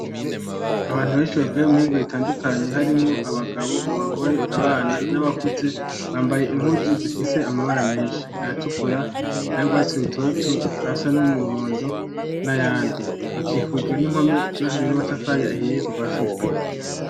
Abantu benshi bavuye mu mihingo itandukanye harimwo abagabo, abagore, abana n'abakuze bambaye impuzu zifise amabara menshi, ayatukura ay'urwatsi rutoto, ayasa n'umuhondo n'ayandi. Hakikujwe n'impome zubakije n'amatafari ahiye kuva hasi gushika hejuru.